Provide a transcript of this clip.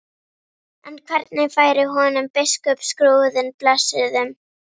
En hvernig færi honum biskupsskrúðinn blessuðum?